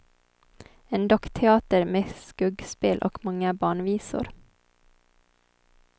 En dockteater med skuggspel och många barnvisor.